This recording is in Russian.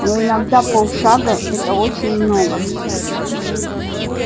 но иногда пол шага это очень много